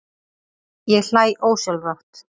Ég hlæ ósjálfrátt.